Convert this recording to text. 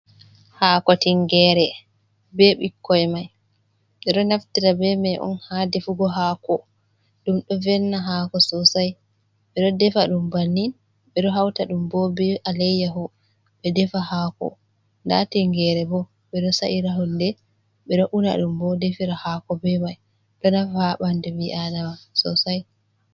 Hako tingere be ɓikkoi mai ɓe do naftira be mai on ha defugo hako ɗum do velna hako sosai ɓe ɗo defa ɗum bannin ɓe ɗo hauta ɗum ɓo be alayyahu ɓe ɗefa hako da tingere ɓo ɓe do sa’ira hunɗe ɓe ɗo una ɗum bo ɗefira hako be mai ɗo nafa ha ɓandu mi'adama sosai.